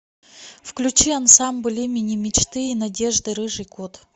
включи ансамбль имени мечты и надежды рыжий кот